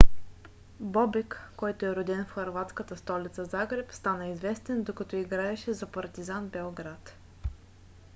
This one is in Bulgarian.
бобек който е роден в хърватската столица загреб стана известен докато играеше за партизан белград